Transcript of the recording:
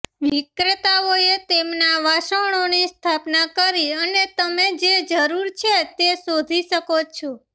વિક્રેતાઓએ તેમના વાસણોની સ્થાપના કરી અને તમે જે જરૂર છે તે શોધી શકો છો